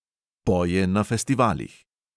Poje na festivalih.